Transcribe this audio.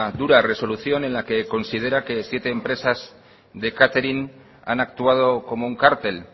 dura resolución en la que considera que siete empresas de catering han actuado como un cártel